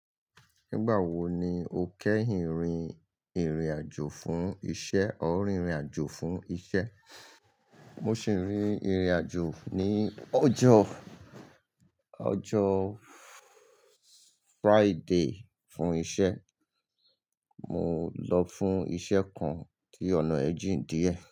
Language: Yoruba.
Nígbà wo ni o kẹ́hìn rìn irìn àjò fún iṣẹ́ or rìn rìn àjò fún iṣẹ́? Mo sì rìn irìn àjò ní ọjọ́, ọjọ́ Friday fún iṣẹ́. Mo lọ fún iṣẹ́ kan tí ọ̀nà ẹ́ jìń díẹ̀